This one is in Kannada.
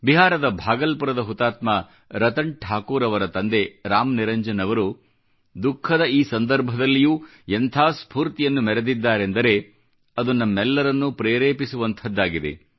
ಬಿಹಾರದ ಭಾಗಲ್ಪುರದ ಹುತಾತ್ಮ ರತನ್ ಠಾಕೂರ್ ಅವರ ತಂದೆ ರಾಮ್ ನಿರಂಜನ್ ಅವರು ದುಖಃದ ಈ ಸಂದರ್ಭದಲ್ಲಿಯೂ ಎಂಥ ಸ್ಪೂರ್ತಿಯನ್ನು ಮೆರೆದಿದ್ದಾರೆಂದರೆ ಅದು ನಮ್ಮೆಲ್ಲರನ್ನೂ ಪ್ರೇರೆಪಿಸುವಂಥದ್ದಾಗಿದೆ